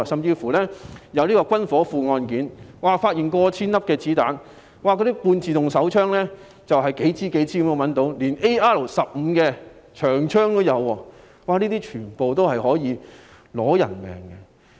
警方甚至發現軍火庫，搜出過千發子彈及多支半自動手槍，甚至 AR-15 自動步槍，這些全部可以奪人性命。